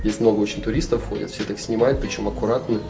здесь много очень туристов ходят все так снимают почём аккуратно